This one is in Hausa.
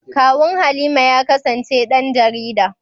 Kawun Halima ya kasance ɗan jarida.